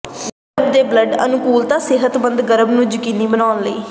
ਗਰਭ ਦੇ ਬਲੱਡ ਅਨੁਕੂਲਤਾ ਸਿਹਤਮੰਦ ਗਰਭ ਨੂੰ ਯਕੀਨੀ ਬਣਾਉਣ ਲਈ